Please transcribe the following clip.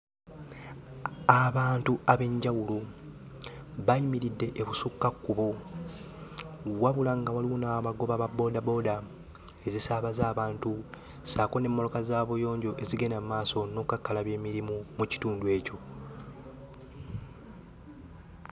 Abantu ab'enjawulo bayimiridde e Busukkakkubo wabula nga waliwo n'abagoba ba boodabooda ezisaabaza abantu ssaako n'emmoloka za buyonjo ezigenda mmaaso n'okkakkalabya emirimu mu kitundu ekyo.